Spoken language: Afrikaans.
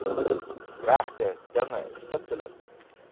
regte dinge stiptelik